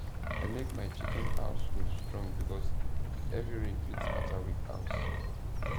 i make my chicken house roof strong because heavy rain fit scatter weak house